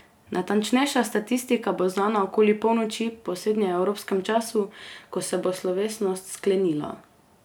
Natančnejša statistika bo znana okoli polnoči po srednjeevropskem času, ko se bo slovesnost sklenila.